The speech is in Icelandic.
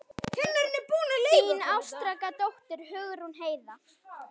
Þín ástkæra dóttir, Hugrún Heiða.